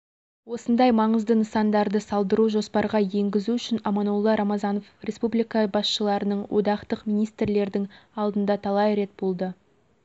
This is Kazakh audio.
осындай маңызды нысандарды салдыру жоспарға еңгізу үшін аманолла рамазанов республика басшыларының одақтық министрлердің алдында талай рет болды